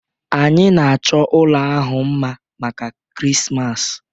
Anyị na-achọ ụlọ ahụ mma maka Krismas